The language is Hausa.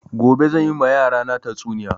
Gobe zan yi ma yara na tatsuniya